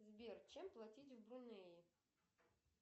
сбер чем платить в брунее